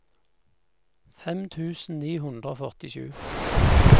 fem tusen ni hundre og førtisju